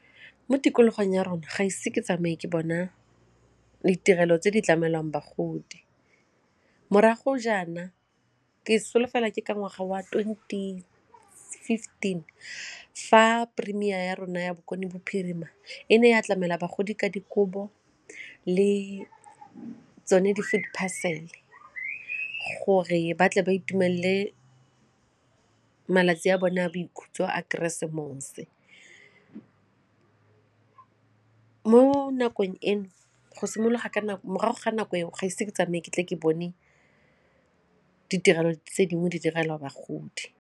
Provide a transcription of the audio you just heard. Mo tikologong ya rona ga ise ke tsamaye ke bona ditirelo tse di tlamelwang bagodi morago jaana ke solofela ke ka ngwaga wa twenty fifteen fa premier ya rona ya bokone bophirima e ne ya tlamela bagodi ka dikobo le ba tsone di-food parcel gore ba tle ba itumelele malatsi a bone a boikhutso a keresemose. Mo nakong eno, morago ga nako eo ga ise ke tsamaye ke tle ke bone ditirelo tse dingwe di direlwa bagodi.